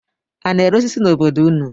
A na-ere osisi n'obodo unu?